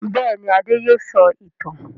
Bẹ́ẹ̀ ni, Adé yóò sọ ìtàn.